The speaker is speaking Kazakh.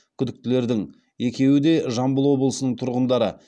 күдіктілердің екеуі де жамбыл облысының тұрғындары